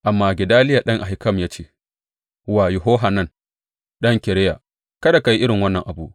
Amma Gedaliya ɗan Ahikam ya ce wa Yohanan ɗan Kareya, Kada ka yi irin wannan abu!